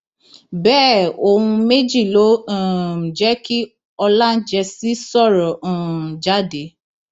bẹẹ ohun méjì ló um jẹ kí ọlájẹǹsì sọrọ um jáde